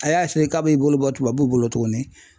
A y'a eseye k'a b'i bolo bɔ tubabuw bolo tuguni